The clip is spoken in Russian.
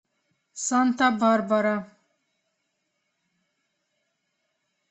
санта барбара